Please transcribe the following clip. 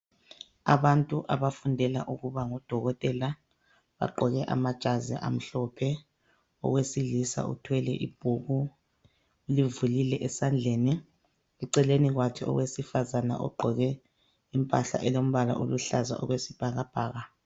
Abantu abafundela ukuba ngudokotela bagqoke amajazi amhlophe, owesilisa uthwele ibhuku ulivulile esandleni. Eceleni kwakhe owesifazane ugqoke impahla elombala oluhlaza okwesibhakabhaka.